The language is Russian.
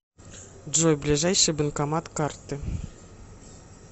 джой ближайший банкомат карты